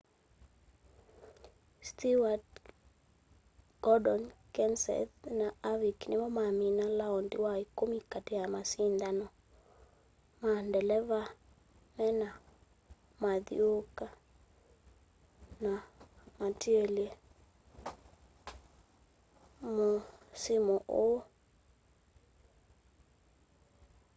stewart gordon kenseth na harvick nimo mamina laondi wa ikumi kati ka masindano ma ndeleva mena mathyuuka ana matielye musimu uu